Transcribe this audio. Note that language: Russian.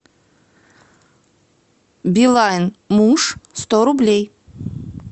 билайн муж сто рублей